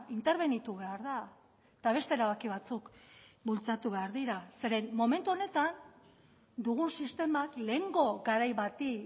interbenitu behar da eta beste erabaki batzuk bultzatu behar dira zeren momentu honetan dugun sistemak lehengo garai bati